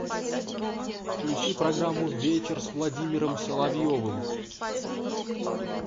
включи программу вечер с владимиром соловьевым